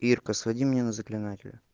ирка своди меня на заклинателя